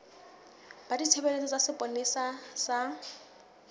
ba ditshebeletso tsa sepolesa sa